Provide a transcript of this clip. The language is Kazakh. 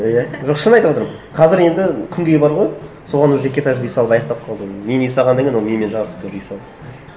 иә жоқ шын айтып отырмын қазір енді күнгей бар ғой соған уже екі этажды үй салып аяқтап қалды мен үй салғаннан кейін ол менімен жарысып тоже үй салды